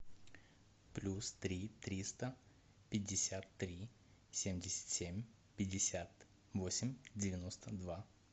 плюс три триста пятьдесят три семьдесят семь пятьдесят восемь девяносто два